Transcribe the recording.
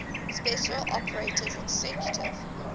special operations executive